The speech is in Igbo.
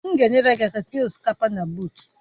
M ga-enyere gị aka itinye osikapa na buut